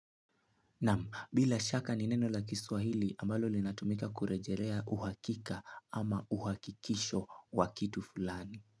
Nam, bila shaka ni neno la kiswahili ambalo linatumika kurejelea uhakika ama uhakikisho wa kitu fulani.